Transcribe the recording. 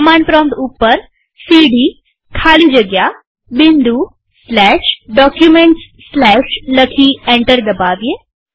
command prompt ઉપર CD ખાલી જગ્યા Documentsકેપિટલમાં ડી લખી અને એન્ટર દબાવીએ